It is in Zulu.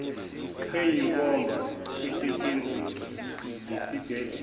eyinkomba esetshenziswa yisibhedlela